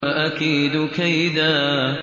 وَأَكِيدُ كَيْدًا